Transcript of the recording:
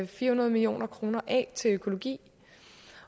fire hundrede million kroner af til økologi